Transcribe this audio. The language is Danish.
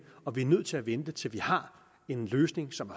og vi er nødt til at vente til vi har en løsning som